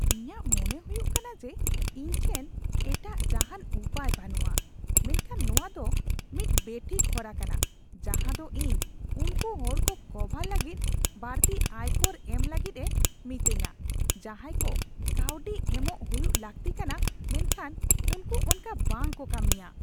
ᱤᱧᱟᱜ ᱢᱚᱱᱮ ᱦᱩᱭᱩᱜ ᱠᱟᱱᱟ ᱡᱮ ᱤᱧ ᱴᱷᱮᱱ ᱮᱴᱟᱜ ᱡᱟᱦᱟᱱ ᱩᱯᱟᱹᱭ ᱵᱟᱹᱱᱩᱜᱼᱟ, ᱢᱮᱱᱠᱷᱟᱱ ᱱᱚᱶᱟ ᱫᱚ ᱢᱤᱫ ᱵᱮᱴᱷᱤᱠ ᱦᱚᱨᱟ ᱠᱟᱱᱟ ᱡᱟᱦᱟᱸ ᱫᱚ ᱤᱧ ᱩᱱᱠᱩ ᱦᱚᱲ ᱠᱚ ᱠᱚᱵᱷᱟᱨ ᱞᱟᱹᱜᱤᱫ ᱵᱟᱹᱲᱛᱤ ᱟᱭᱠᱚᱨ ᱮᱢ ᱞᱟᱹᱜᱤᱫ ᱮ ᱢᱤᱛᱟᱹᱧᱟ ᱡᱟᱦᱟᱸᱭ ᱠᱚ ᱠᱟᱹᱣᱰᱤ ᱮᱢᱚᱜ ᱦᱩᱭᱩᱜ ᱞᱟᱹᱠᱛᱤ ᱠᱟᱱᱟ ᱢᱮᱱᱠᱷᱟᱱ ᱩᱱᱠᱩ ᱚᱱᱠᱟ ᱵᱟᱝ ᱠᱚ ᱠᱟᱹᱢᱤᱭᱟ ᱾